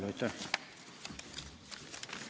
Aitäh!